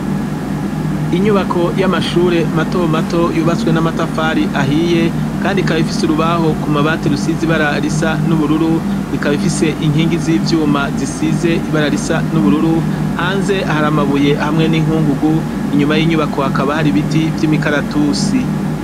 Inyubako y'amashure mato mato yubatswe n'amatafari ahiye, kandi ikaba ifise urubaho ku mabati rusize ibara risa n'ubururu, ikaba ifise inkingi z'ivyuma zisize ibara risa n'ubururu, hanze hari amabuye hamwe n'inkungugu, inyuma y'inyubako hakaba hari ibiti vy'imikaratusi.